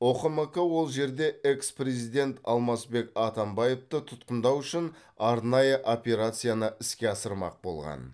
ұқмк ол жерде экс президент алмазбек атамбаевты тұтқындау үшін арнайы операцияны іске асырмақ болған